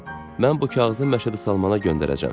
Mən bu kağızı Məşədi Salmana göndərəcəyəm.